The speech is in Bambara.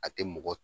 A tɛ mɔgɔ